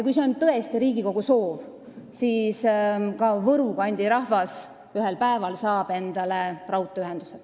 Kui see on tõesti Riigikogu soov, siis ka Võru kandi rahvas saab ühel päeval endale raudteeühenduse.